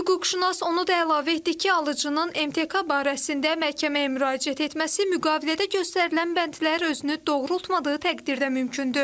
Hüquqşünas onu da əlavə etdi ki, alıcının MTK barəsində məhkəməyə müraciət etməsi müqavilədə göstərilən bəndlər özünü doğrultmadığı təqdirdə mümkündür.